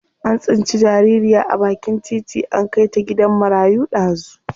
An tsinci jaririya a bakin titi an kai ta gidan marayu dazu.